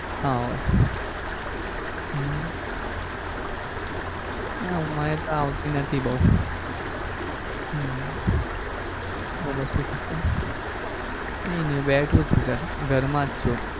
ના હોય હમ ના મને તો આવતી નથી બઉ હમ બોલો શું કહો છો કઈ નઈ હૂતો બેઠો છું sir ઘર માં જ છું.